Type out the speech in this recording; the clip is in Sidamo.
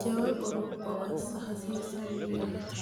jawa qoropho assa hasiisanno yaate,